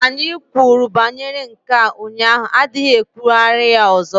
Anyị kwuru banyere nke a ụnyaahụ adịghị ikwugharị ya ọzọ!